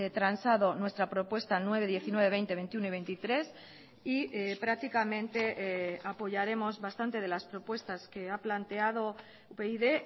transado nuestra propuesta nueve diecinueve veinte veintiuno y veintitrés y prácticamente apoyaremos bastante de las propuestas que ha planteado upyd